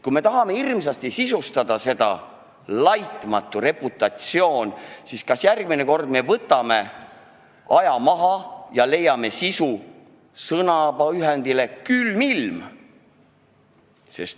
Kui me tahame hirmsasti sisustada seda "laitmatut reputatsiooni", siis kas järgmine kord võtame aja maha ja leiame sisu sõnapaarile "külm ilm"?